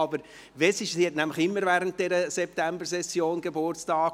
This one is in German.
Sie hat immer während der Septembersession Geburtstag.